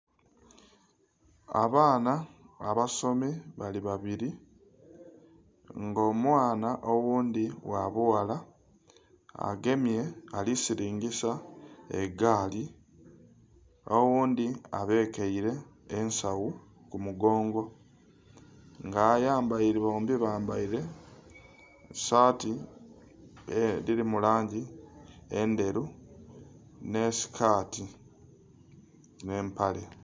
Abaana abasomi bali babiri nga omwaana oghundhi gha bughala agemye ali silingisa egaali oghundhi abekeire ensagho ku mugongo nga bombi bambaire saati edhiri mu mu langi endheru, nhe sikati nhe'mpale.